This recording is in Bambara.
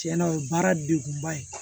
Tiɲɛna o ye baara degunba ye